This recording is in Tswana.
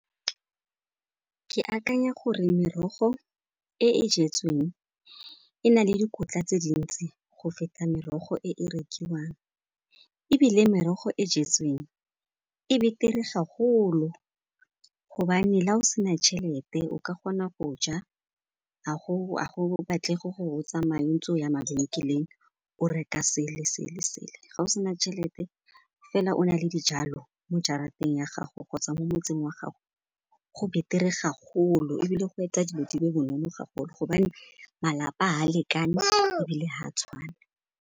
Ke akanya gore merogo e e jetsweng e na le dikotla tse dintsi go feta merogo e e rekiwang. Ebile merogo e jetsweng e beter-e gagolo ka gobane la o sena tšhelete o ka kgona go ja, go batlega gore o tsamaye ntse o ya mabenkeleng o reka sele le sele. Ga o sena tšhelete fela o na le dijalo mo jarateng ya gago kgotsa mo motseng wa gago go beter-e gagolo, ebile go etsa dilo di le bonolo gago gobane malapa ga a lekane, ebile ga a tshwane.